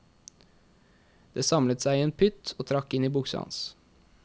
Det samlet seg i en pytt og trakk inn i buksa hans.